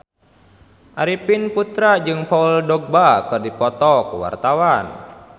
Arifin Putra jeung Paul Dogba keur dipoto ku wartawan